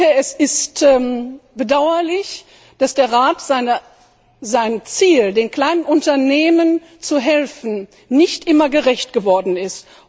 Rat. Es ist bedauerlich, dass der Rat seinem Ziel, den kleinen Unternehmen zu helfen, nicht immer gerecht geworden